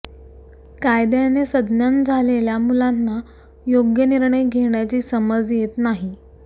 कायद्याने सज्ञान झालेल्या मुलांना योग्य निर्णय घेण्याची समज येत नाही